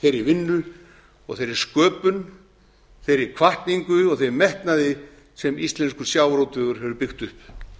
þeirri vinnu og þeirri sköpun þeirri hvatningu og þeim metna sem íslenskur sjávarútvegur hefur byggt upp